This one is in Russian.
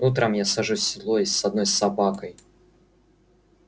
утром я сажусь в седло и с одной собакой